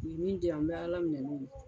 U ye min di yan n bɛ Ala minɛ n'o ye